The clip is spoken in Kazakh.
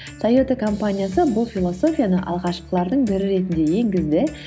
тойота компаниясы бұл философияны алғашқылардың бірі ретінде енгізді